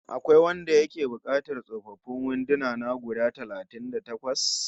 Akwai wanda yake buƙatar tsofaffin wanduna na guda talatin da takwas?